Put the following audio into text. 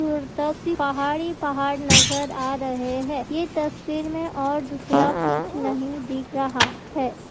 दूर तो सिर्फ पहाड़ ही पहाड़ नज़र आ रहे है ये तस्वीर में और दूसरा कुछ नहीं दिख रहा है।